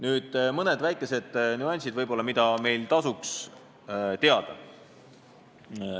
Nüüd mõned nüansid, mida meil tasuks teada.